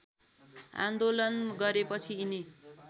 आन्दोलन गरेपछि यिनी